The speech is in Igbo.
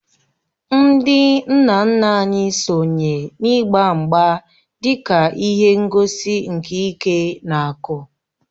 Ndị nna nna anyị sonye n’ịgba mgba dị ka ihe ngosi nke ike na akụ